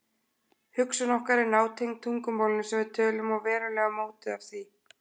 Hugsun okkar er nátengd tungumálinu sem við tölum og verulega mótuð af því.